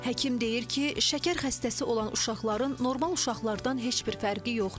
Həkim deyir ki, şəkər xəstəsi olan uşaqların normal uşaqlardan heç bir fərqi yoxdur.